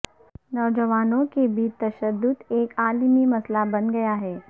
نوجوانوں کے بیچ تشدد ایک عالمی مسئلہ بن گیا ہے